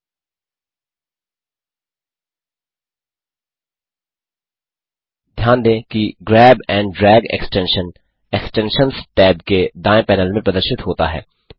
ध्यान दें कि grab and drag extension extensions tab के दाएँ पैनल में प्रदर्शित होता है